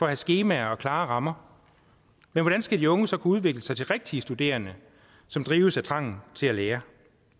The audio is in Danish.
have skemaer og klare rammer men hvordan skal de unge så kunne udvikle sig til rigtige studerende som drives af trangen til at lære